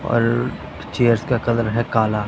और चेयर्स का कलर है काला।